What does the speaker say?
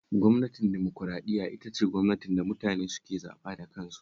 Gwamnatin dimokuraɗiyya ita ce gwamnatin da mutane suke zaɓa da kansu